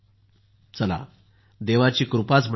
चला देवाची कृपा झाली